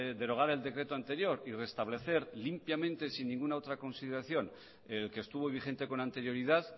derogar el decreto anterior y reestablecer limpiamente sin ninguna otra consideración el que estuvo vigente con anterioridad